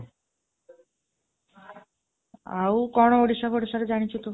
ଆଉ କଣ ଓଡ଼ିଶା ର ଜାଣିଛୁ ତୁ?